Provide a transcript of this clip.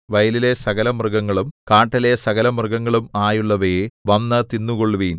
വയലിലെ സകലമൃഗങ്ങളും കാട്ടിലെ സകലമൃഗങ്ങളും ആയുള്ളോവയേ വന്ന് തിന്നുകൊള്ളുവിൻ